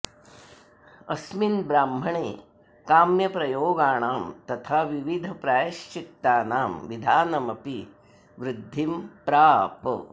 अस्मिन् ब्राह्मणे काम्यप्रयोगाणां तथा विविधप्रायश्चित्तानां विधानमपि वृद्धिं प्राप